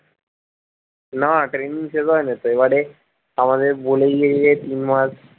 না training শেষ হয়নি তো এবারে আমাদের বলেই নিয়েছে তিন মাস,